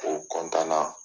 O kɔntanna.